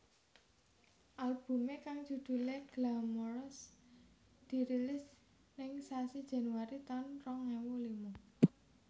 Albumé kang judulé Glamorous dirilis ning sasi Januari taun rong ewu lima